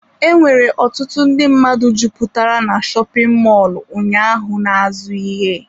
Enwere ọtụtụ ndị mmadụ jupụtara na shopin mọlụ ụnyaahụ na-azụ ihe.